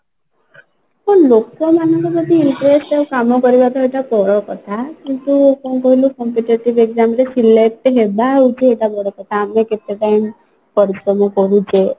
ଆ ଲୋକ ମାନଙ୍କର ଯଦି interest ଥାଏ କାମ କରିବା ତ ଏଟା ବଡ କଥା କିନ୍ତୁ କଣ କହିଲୁ competitive exam ରେ selecting ହେବା ହଉଛି ଏଟା ବଡ କଥା ଆମେ କେତେ time ପରିଶ୍ରମ କରୁଛେ